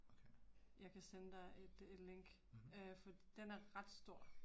Okay. Mh